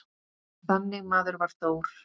Þannig maður var Þór.